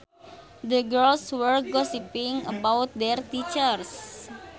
The girls were gossiping about their teachers